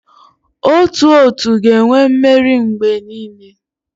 Otu otu ga-enwe mmeri mgbe niile.